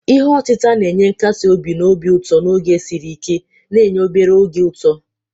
Ihe otita na-enye nkasi obi na obi ụtọ n'oge siri ike, na-enye obere oge ụtọ.